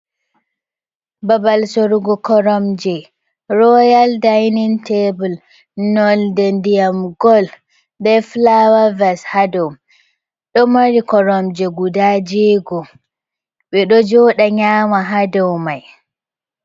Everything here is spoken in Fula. Babal sorugo koromje Royal dinin tabul nolde ndiyam gol, nda fulaw ves haa dow, ɗo mari koromje guda jeego, ɓe ɗo jooɗa nyama haa dow mai.